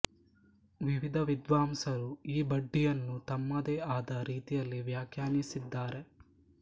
ವಿವಿಧ ವಿದ್ವಾಂಸರು ಈ ಬಡ್ಡಿಯನ್ನು ತಮ್ಮದೇ ಆದ ರೀತಿಯಲ್ಲಿ ವ್ಯಾಖ್ಯಾನಿಸಿದ್ದಾರೆ